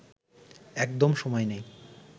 একদম সময় নেই